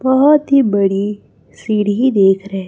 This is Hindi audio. बहोत ही बड़ी सीढ़ी देख रहें--